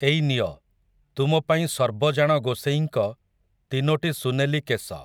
ଏଇ ନିଅ, ତୁମପାଇଁ ସର୍ବଜାଣ ଗୋସେଇଁଙ୍କ, ତିନୋଟି ସୁନେଲି କେଶ ।